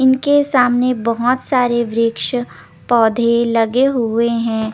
इनके सामने बहोत सारे वृक्स पोधे लगे हुए हे ।